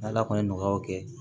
N' ala kɔni ye nɔgɔyaw kɛ